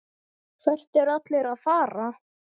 Hvert eru allir að fara?